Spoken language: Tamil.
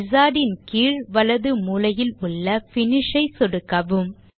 wizard ன் கீழ் வலது மூலையில் உள்ள Finish ஐ சொடுக்கவும்